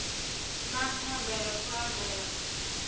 na thanda ya fulaga ya